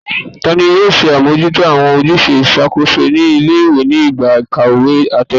Tani yoo ṣe amojuto awọn ojuse iṣakoso ni ile-iwe ni igba ikawe atẹle?